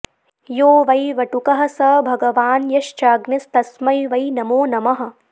यो वै वटुकः स भगवान् यश्चाग्निस्तस्मै वै नमो नमः